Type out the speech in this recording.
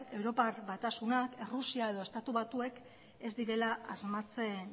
europar batasunak errusia edo estatu batuek ez direla asmatzen